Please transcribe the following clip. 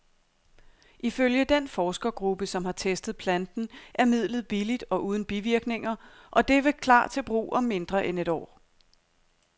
Ifølge den forskergruppe, som har testet planten, er midlet billigt og uden bivirkninger, og det vil klar til brug om mindre end et år.